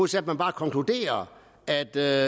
til at man bare konkluderer at der